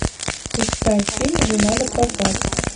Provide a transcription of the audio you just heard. искать фильм жена на прокат